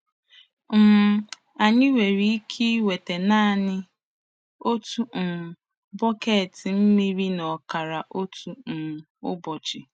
um Anyị nwere ike ịnweta naanị otu um bọket mmiri na ọkara otu um ụbọchị. ”